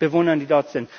Bewohnern, die dort sind.